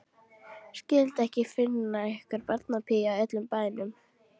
Skyldi ekki finnast einhver barnapía í öllum bænum.